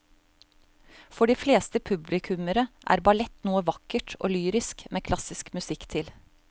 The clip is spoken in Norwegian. For de fleste publikummere er ballett noe vakkert og lyrisk med klassisk musikk til.